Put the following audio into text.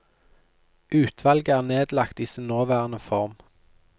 Utvalget er nedlagt i sin nåværende form.